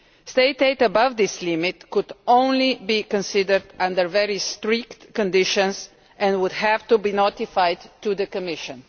State aid above this limit can only be considered under very strict conditions and would have to be notified to the Commission.